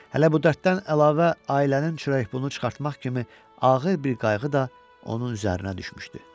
Hələ bu dərddən əlavə ailənin çörəyini çıxartmaq kimi ağır bir qayğı da onun üzərinə düşmüşdü.